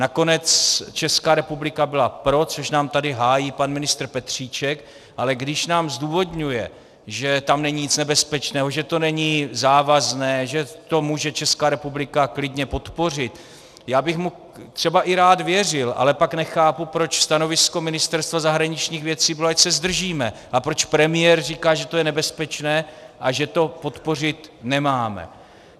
Nakonec Česká republika byla pro, což nám tady hájí pan ministr Petříček, ale když nám zdůvodňuje, že tam není nic nebezpečného, že to není závazné, že to může Česká republika klidně podpořit, já bych mu třeba i rád věřil, ale pak nechápu, proč stanovisko Ministerstva zahraničních věcí bylo, ať se zdržíme, a proč premiér říká, že to je nebezpečné a že to podpořit nemáme.